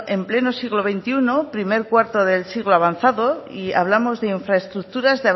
en pleno siglo veintiuno primer cuarto del siglo avanzado y hablamos de infraestructuras